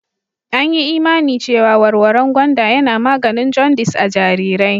An yi imani cewa warwaren gwanda yana maganin jaundice a' jarirai.